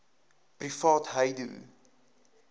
privaatheidu